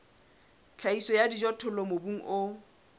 tlhahiso ya dijothollo mobung o